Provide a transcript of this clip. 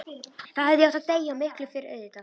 Þá hefði ég átt að deyja, og miklu fyrr auðvitað.